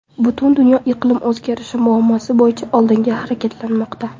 Butun dunyo iqlim o‘zgarishi muammosi bo‘yicha oldinga harakatlanmoqda.